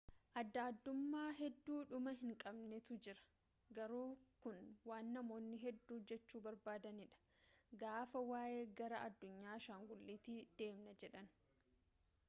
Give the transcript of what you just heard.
adda addummaa hedduu dhuma hin qabnetu jira garuu kun waan namoonni hedduu jechuu barbaadanii dha gaafa waa'ee gara addunyaa ashangulitii deemna jedhan